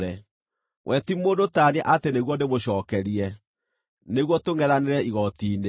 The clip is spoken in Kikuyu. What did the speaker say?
“We ti mũndũ ta niĩ atĩ nĩguo ndĩmũcookerie, nĩguo tũngʼethanĩre igooti-inĩ.